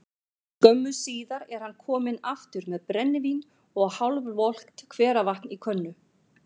Skömmu síðar er hann kominn aftur með brennivín og hálfvolgt hveravatn í könnu.